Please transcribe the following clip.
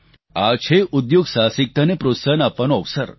આ છે ઉદ્યોગ સાહસિકતાને પ્રોત્સાહન આપવાનો અવસર